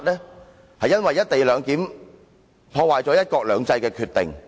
這是因為"一地兩檢"破壞了"一國兩制"的決定。